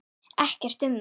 Ekkert um það.